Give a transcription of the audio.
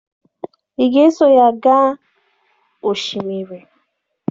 Ị ga-eso ya gaa osimiri?